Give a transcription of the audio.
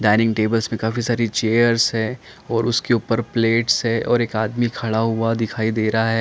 Dining table में से काफी सारी चेयर्स है और उसके उपर प्लेट्स है और एक आदमी दिखाई दे रहा है।